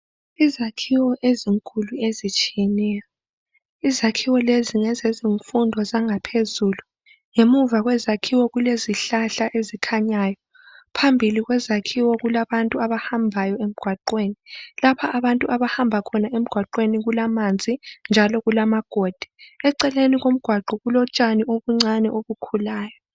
Izakhiwo ezinkulu ezitshiyeneyo. Izakhiwo lezi ngezezimfundo zangaphezulu. Ngemva kwezakhiwo kule zihlahla ezikhanyayo. Phambili kwezakhiwo kulabantu abahambayo emgwaqeni. Lapha abantu abahamba khona emgwaqeni kulamanzi njalo kulamagodi. Eceleni komgwaqo kulotshani obuncani obukhulayo.